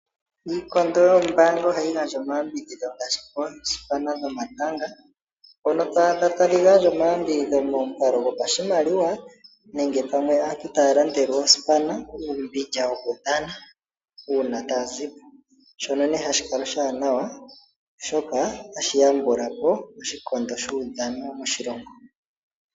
Iikondo yoombaanga ohayi gandja omayambidhidho ngaashi koosipana dhomatanga mpono to adha tadhi gandja omayambidhidho momukalo gopashimaliwa nenge pamwe taya landele oosipana uumbindja wokudhana uuna taya zi po, shoka hashi kala oshiwanawa, oshoka otashi yambula po oshikondo shuudhano moshilongo.